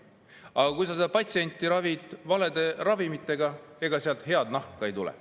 Aga kui sa patsienti ravid valede ravimitega, siis ega sealt head nahka ei tule.